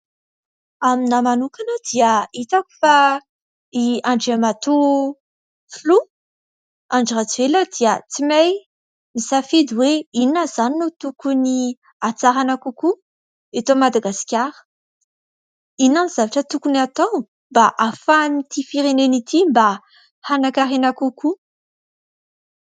Amiko manokana dia hitako fa i andriamatoa filoha Andry Rajoelina dia tsy mahay misafidy hoe : inona izany no tokony hatsaraina kokoa eto Madagasikara ? Inona ny zavatra tokony atao mba ahafahan'ity firenena ity mba hanan-karena kokoa ?